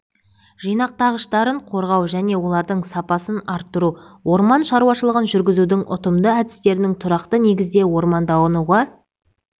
жинақтағыштарын қорғау және олардың сапасын арттыру орман шаруашылығын жүргізудің ұтымды әдістеріне тұрақты негізде ормандануға